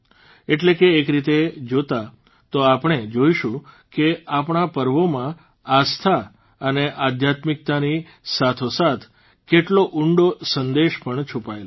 એટલે કે એક રીતે જોતાં તો આપણે જોઇશું કે આપણા પર્વોમાં આસ્થા અને આધ્યાત્મિકતાની સાથોસાથ કેટલો ઉંડો સંદેશ પણ છુપાયેલો છે